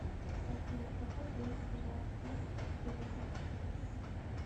афина в какой день бывает день независимости казахстана